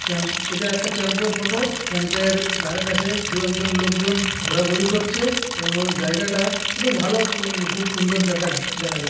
এটা একটা ক্যাম্প -এর ফটো । ক্যাম্প -এর ধারে কাছে দু একজন লোক জন ঘোরা ঘুরি করছে এবং জায়গাটা একটু ভালো সু খুবসুন্দর দেখা দেখা যায়--